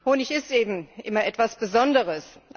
Honig ist eben immer etwas Besonderes.